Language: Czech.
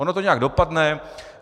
Ono to nějak dopadne.